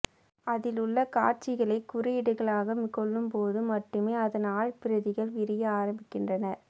அதில் உள்ள காட்சிகளை குறியீடுகளாக கொள்ளும்போது மட்டுமே அத்ன் ஆழ்பிரதிகள் விரிய ஆரம்பீக்கின்றன